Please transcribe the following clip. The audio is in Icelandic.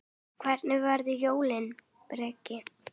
Hvernig verða jólin, Bragi?